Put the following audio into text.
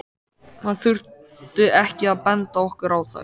Hann þurfti ekki að benda okkur á þær.